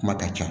Kuma ka ca